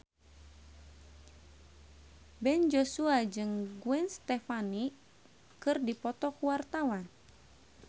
Ben Joshua jeung Gwen Stefani keur dipoto ku wartawan